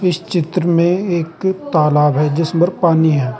इस चित्र में एक तालाब है जिसमर पानी है।